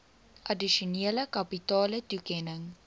addisionele kapitale toekenning